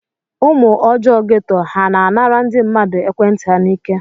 Ụmụ ọjọọ geto ha na-anara ndị mmadụ ekwentị ha n'ike?